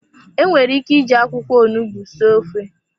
Enwere ike iji akwụkwọ onugbu sie ofe.